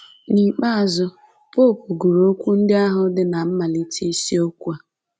N’ikpeazụ, popu gụrụ okwu ndị ahụ dị ná mmalite isiokwu a